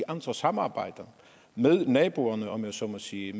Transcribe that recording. andre samarbejder med naboerne om jeg så må sige